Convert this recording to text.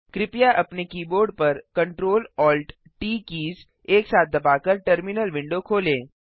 कृपया अपने कीबोर्ड पर CtrlAltT कीज़ एक साथ दबाकर टर्मिनल विंडो खोलें